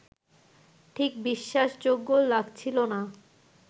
ঠিক বিশ্বাসযোগ্য লাগছিল না